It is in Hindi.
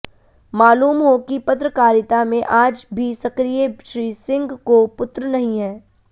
मालूम हो कि पत्रकारिता में आज भी सक्रिय श्री सिंह को पुत्र नहीं है